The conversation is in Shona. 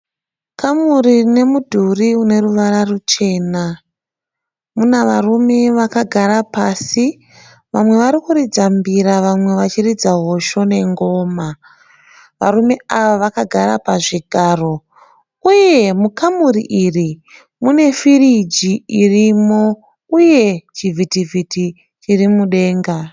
kamuri rine mudhuri une ruvara rwuchena mune varume varimudenga varume ava vakagara pasi vamwe vari kuridza hosho nengoma pazvigaro, uye mukamuri iri mune firiji irimo uye mune chivhitivhiti chiri mudenga.